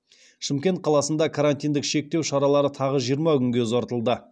шымкент қаласында карантиндік шектеу шаралары тағы жиырма күнге ұзартылды